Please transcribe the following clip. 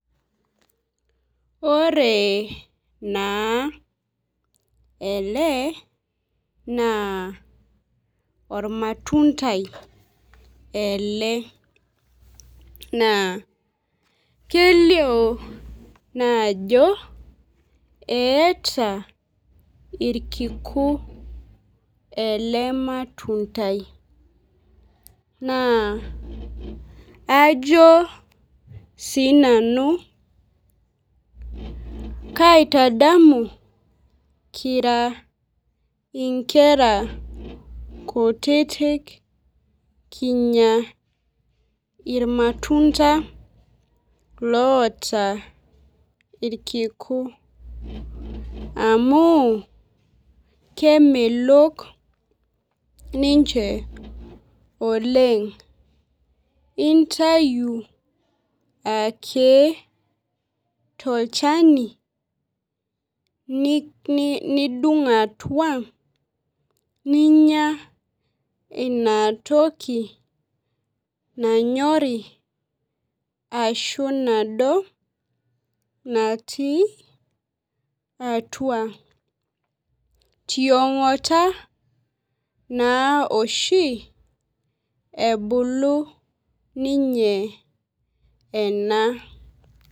Ore naa ele naa olmatundai ele, naa kelio naa ajo keata ilkiku ele matundai, naa ajo sii nanu kaitadamu kira inkera kutitik kinya ilmatunda loata ilkiku, amu kemelok ninche oleng'. Intaayu ake tolchani, nidung' atua ninya ina toki nanyori ahu nado natii atua. Tiong'ata naa oshi ebulu ninye ena.